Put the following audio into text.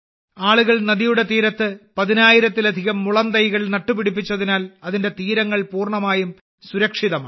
ആളുകൾ നദിയുടെ തീരത്ത് പതിനായിരത്തിലധികം മുളത്തൈകൾ നട്ടുപിടിപ്പിച്ചതിനാൽ അതിന്റെ തീരങ്ങൾ പൂർണ്ണമായും സുരക്ഷിതമാണ്